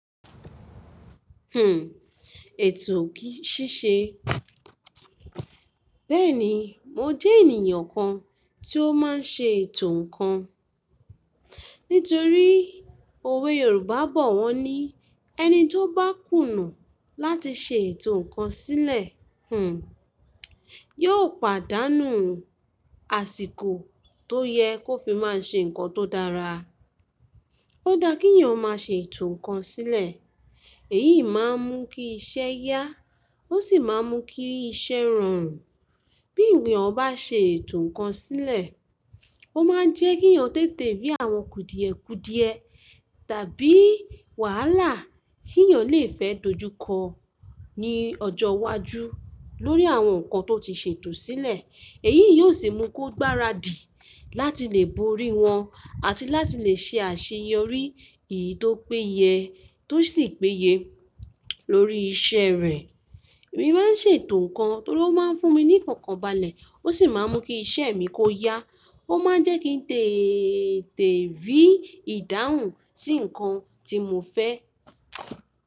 Hmm, ètò kí í ṣíṣe. Bẹ́ẹ̀ni, mo jẹ́ ènìyàn kan tí ó máa ń ṣe ètò ǹkan. Nítorí òwe Yorùbá bọ̀ wọ́n ní "ẹni tí ó bá kùnà láti ṣe ètò ǹkan sílẹ̀, hmm, yóò pàdánù àsìkò tó yẹ kó fi máa ṣe ǹkan tó dára". Ó dá kí ènìyàn máa ṣe ètò ǹkan sílẹ̀. Èyí máa ń mú kí iṣẹ́ yá, ó sì máa ń mú kí iṣẹ́ rọrùn. Bí ènìyàn bá ṣe ètò ǹkan sílẹ̀, ó máa jẹ́ kí ènìyàn tètè rí àwọn kùdìẹ̀kùdìẹ tàbí wàhálà tí ènìyàn le fẹ́ dojúkọ ní ọjọ́ iwájú lórí àwọn ǹkan tó ti ṣe ètò sílẹ̀. Èyí yóò sì mú kó gbáradì láti lè borí wọn àti láti lè ṣe àṣeyọrí èyí tó péye tó sì péye lórí iṣẹ́ rẹ̀. Èmi máa ń ṣe ètò ǹkan torí ó máa ń fún mi ní ìfọ̀kànbalẹ̀, ó sì máa ń mú kí iṣẹ́ mi kó yá. Ó máa ń jẹ́ kí n tètè rí ìdáhùn sí ǹkan tí mo fẹ́.